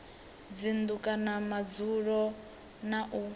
dzinnu kana madzulo na u